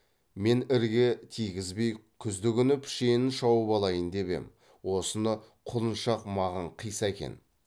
мен ірге тигізбей күздігүні пішенін шауып алайын деп ем осыны құлыншақ маған қиса екен